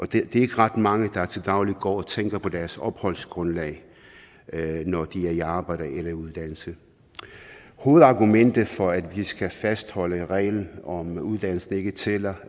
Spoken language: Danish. det er ikke ret mange der til daglig går og tænker på deres opholdsgrundlag når de er i arbejde eller i uddannelse hovedargumentet for at vi skal fastholde reglen om at uddannelse ikke tæller